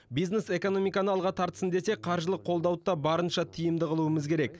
бизнес экономиканы алға тартсын десек қаржылық қолдауды да барынша тиімді қылуымыз керек